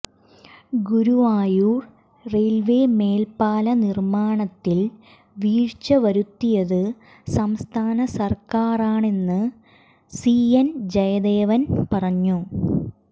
Guruvayur railway മേൽപ്പാല നിർമ്മാണത്തിൽ വീഴ്ച വരുത്തിയത് സംസ്ഥാന സർക്കാറാണെന്ന് സി എൻ ജയദേവൻ പറഞ്ഞു